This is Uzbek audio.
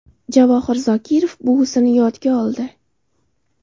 Javohir Zokirov buvisini yodga oldi.